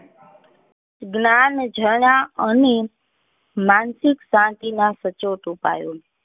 ગ્નાન જણા અને માનસિક શાંતિ ના સચોટ ઉપાયો